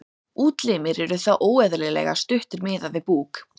útlimir eru þá óeðlilega stuttir miðað við búk